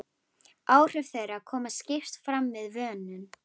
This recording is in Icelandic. Áhrif þeirra koma skýrt fram við vönun.